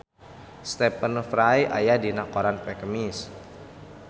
Stephen Fry aya dina koran poe Kemis